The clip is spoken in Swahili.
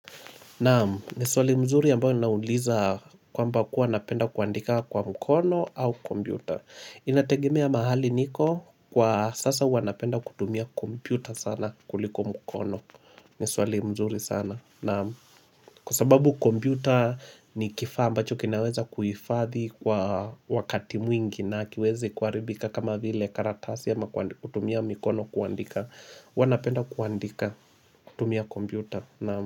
Naam, ni swali mzuri ambayo ninauliza kwamba kuwa napenda kuandika kwa mkono au kompyuta. Inategemea mahali niko kwa sasa huwa napenda kutumia kompyuta sana kuliko mkono. Ni swali mzuri sana. Naam, kwa sababu kompyuta ni kifaa ambacho kinaweza kuhifadhi kwa wakati mwingi na hakiwezi kuharibika kama vile karatasi ama kutumia mikono kuandika. Wanapenda kuandika kutumia kompyuta. Naamu.